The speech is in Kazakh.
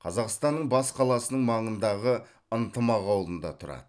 қазақстанның бас қаласының маңындағы ынтымақ ауылында тұрады